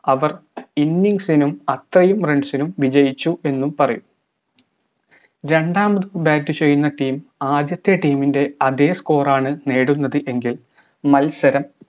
അവർ innings നും അത്രയും runs നും വിജയിച്ചു എന്നും പറയും രണ്ടാമത് bat ചെയ്യുന്ന team ആദ്യത്തെ team ൻറെ അതെ score ആണ് നേടുന്നത് എങ്കിൽ മത്സരം